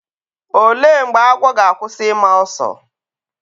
olee mgbe agwọ ga-akwụsị ịma ọsọ?